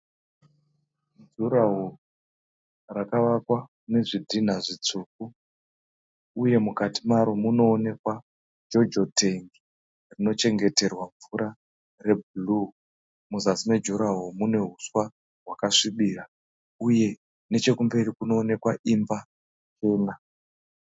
Durahall rakavakwa nezvidhinha zvitsvuku uye mukati maro munoonekwa Jojo tank rinochengeterwa mvura reblue muzasi mejurahoro mune huswa hwakasvibira uye nechekumberi kunowonekwa imba ina.